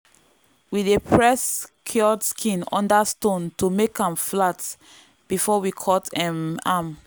we dey press cured skin under stone to make am flat before we cut um am.